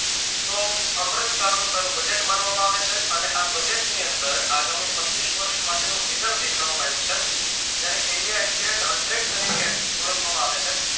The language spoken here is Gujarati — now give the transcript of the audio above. તો અમ્રતકાળનું તેનું budget માનવામાં આવે છે અને આ budget ની અંદર આગામી પચીશ વર્ષ માટેનું vizan દેખાડવામાં આવ્યું છે એને India Exerate Hundred તરીકે ઓળખવામાં આવે છે.